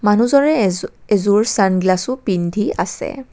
মানুহজনে এযো-এযোৰ ছান গ্লাছও পিন্ধি আছে।